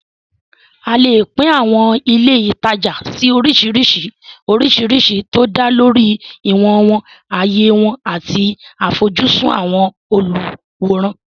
A lè pín àwọn ilé ìtajà sí oríṣiríṣi oríṣìíríṣìí tó dá lórí ìwọ̀n wọn, ààyè wọn, àti àfojúsùn àwọn olùwòran.